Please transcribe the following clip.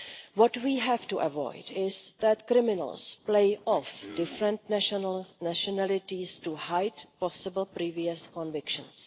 What we have to avoid is that criminals play off different nationalities to hide possible previous convictions.